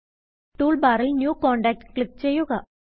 tool ബാറിൽ new contact click ചെയ്യുക